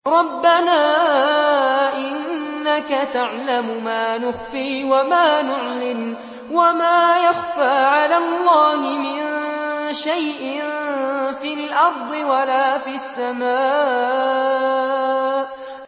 رَبَّنَا إِنَّكَ تَعْلَمُ مَا نُخْفِي وَمَا نُعْلِنُ ۗ وَمَا يَخْفَىٰ عَلَى اللَّهِ مِن شَيْءٍ فِي الْأَرْضِ وَلَا فِي السَّمَاءِ